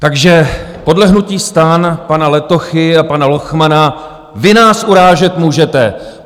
Takže podle hnutí STAN, pana Letochy a pana Lochmana, vy nás urážet můžete.